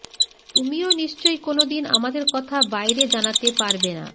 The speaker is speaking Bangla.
তুমিও নিশ্চয়ই কোনোদিন আমাদের কথা বাইরে জানাতে পারবে না